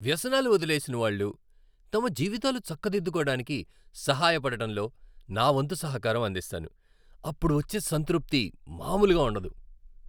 వ్యసనాలు వదిలేసినవాళ్ళు తమ జీవితాలు చక్కదిద్దుకోడానికి సహాయపడటంలో నా వంతు సహకారం అందిస్తాను. అప్పుడు వచ్చే సంతృప్తి మామూలుగా ఉండదు!